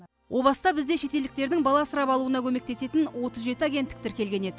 о баста бізде шетелдіктердің бала асырап алуына көмектесетін отыз жеті агенттік тіркелген еді